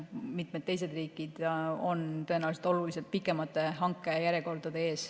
Mitmel teisel riigil on tõenäoliselt oluliselt pikemad hankejärjekorrad.